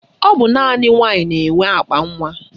Ọ bụ naanị nwaanyị na-enwe akpanwa